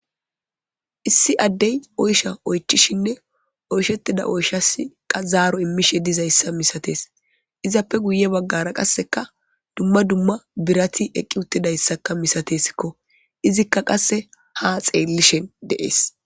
Issi addey oysha oychishinne oyshettida oyshasiqa zaaro immishe dizayssa misates izappe guye baggara qasseka dumma dumma birati eqqi uttidayssakka misatesikko izikka qasse ha xeellishen deees